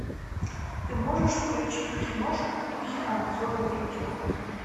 ты можешь включить киношку в духе обзора видео